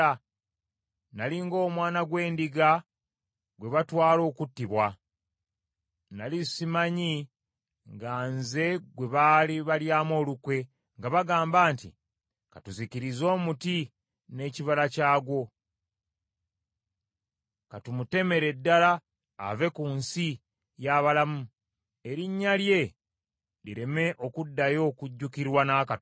Nnali ng’omwana gw’endiga gwe batwala okuttibwa. Nnali simanyi nga nze gwe baali balyamu olukwe, nga bagamba nti, “Ka tuzikirize omuti n’ekibala kyagwo, ka tumutemere ddala ave ku nsi y’abalamu, erinnya lye lireme okuddayo okujjukirwa n’akatono.”